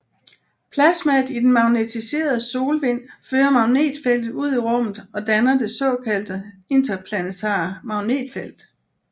Plasmaet i den magnetiserede solvind fører magnetfeltet ud i rummet og danner det såkaldte interplanetare magnetfelt